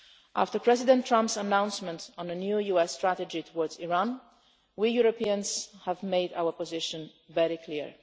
After President Trump's announcement of a new US strategy towards Iran, we Europeans have made our position very clear.